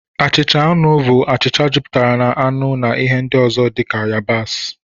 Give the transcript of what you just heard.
Achịcha anụ bụ achịcha jupụtara na anụ na ihe ndị ọzọ dị ka yabasị